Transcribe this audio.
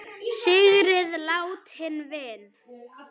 Syrgið látinn vin!